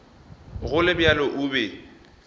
go le bjalo o be